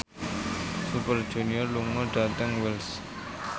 Super Junior lunga dhateng Wells